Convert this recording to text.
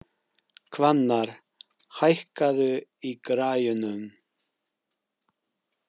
Hvannar, hækkaðu í græjunum.